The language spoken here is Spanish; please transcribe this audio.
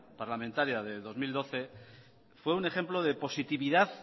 parlamentaria de dos mil doce fue un ejemplo de positividad